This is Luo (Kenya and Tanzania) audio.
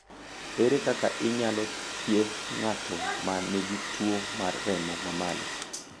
Ere kaka inyalo thiedh ng’ato ma nigi tuwo mar remo ma malo?